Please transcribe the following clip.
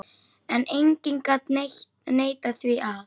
En enginn gat neitað því að